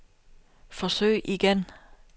forsøg igen